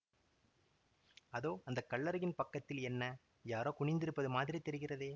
அதோ அந்த கல்லறையின் பக்கத்தில் என்ன யாரோ குனிந்திருப்பது மாதிரி தெரிகிறதே